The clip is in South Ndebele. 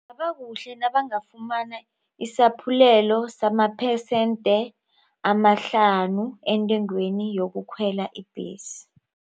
Kungaba kuhle nabangafumana isaphulelo samaphesente amahlanu entengweni yokukhwela ibhesi.